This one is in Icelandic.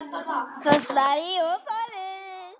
Það slær í ofboði.